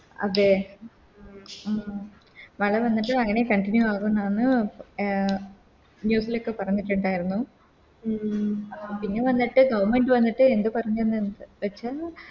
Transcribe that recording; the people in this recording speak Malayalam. അതെ മള വന്നിട്ട് അങ്ങനെ Continue ആകുംന്നാണ് News ലോക്കെ പറഞ്ഞിട്ടുണ്ടാരുന്നു പിന്നെ വന്നിട്ട് Government എന്ത് പറഞ്ഞെന്ന് വെച്ച